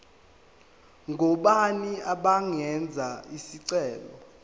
ngobani abangenza isicelo